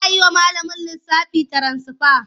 Za a yi wa malamin lissafi tiransifa.